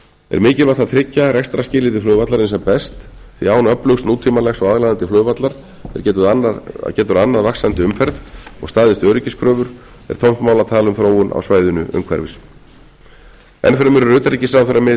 er mikilvægt að tryggja rekstrarskilyrði flugvallarins sem best því án öflugs nútímalegs og aðlaðandi flugvallar er getur annað vaxandi umferð og staðist öryggiskröfur er tómt mál að tala um þróun á svæðinu umhverfis enn fremur er utanríkisráðherra með í